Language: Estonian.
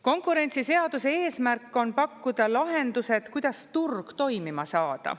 Konkurentsiseaduse eesmärk on pakkuda lahendus, et kuidas turg toimima saada.